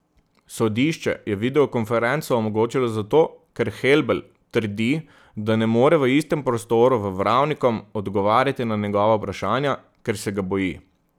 Sodišče je videokonferenco omogočilo zato, ker Helbl trdi, da ne more v istem prostoru v Vravnikom odgovarjati na njegova vprašanja, ker se ga boji.